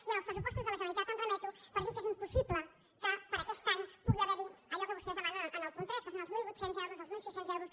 i als pressupostos de la generalitat em remeto per dir que és impossible que per a aquest any pugui haver hi allò que vostès demanen en el punt tres que són els mil vuit cents euros els mil sis cents euros